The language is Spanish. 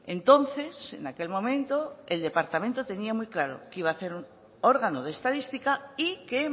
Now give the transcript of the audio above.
entonces en aquel momento el departamento tenía muy claro que iba hacer órgano de estadística y que